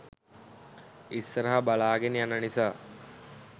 ඉස්සරහ බලාගෙන යන නිසා